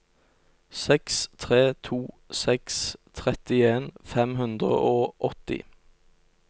seks tre to seks trettien fem hundre og åtti